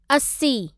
असी